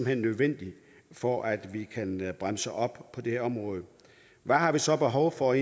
hen nødvendigt for at vi kan bremse op på det her område hvad har vi så behov for